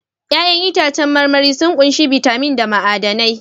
Ya'yan itãcen marmari sun ƙunshi bitamin da ma'adanai